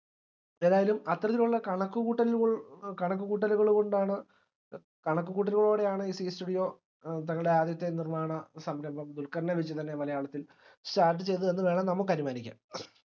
ഏതായാലും അത്തരത്തിലുള്ള കണക്കുകൂട്ടലുകൾ കണക്കുകൂട്ടലുകള്കൊണ്ടാണ് കണക്കുക്കൂട്ടലോടെയാണ് ഈ zee studio ഏർ തങ്ങടെ ആദ്യത്തെ നിർമാണസംരംഭം ദുൽഖർനെ വെച്ചുതന്നെ മലയാളത്തിൽ start ചെയ്തതെന്ന് വേണം നമ്മക്ക് അനുമാനിക്കാം